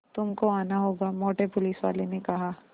तुमको आना होगा मोटे पुलिसवाले ने कहा